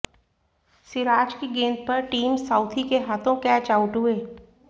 सिराज की गेंद पर टिम साउथी के हाथों कैच आउट हुए